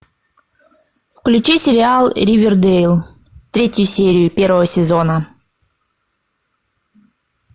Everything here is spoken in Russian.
включи сериал ривердейл третью серию первого сезона